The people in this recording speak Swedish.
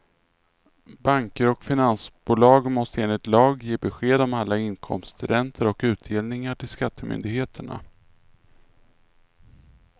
Banker och finansbolag måste enligt lag ge besked om alla inkomsträntor och utdelningar till skattemyndigheterna.